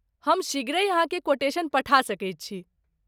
हम शीघ्रहि अहाँकेँ कोटेशन पठा सकैत छी।